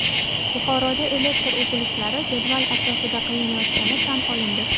Buxoroda elektr uzilishlari jadval asosida qilinayotgani tan olindi.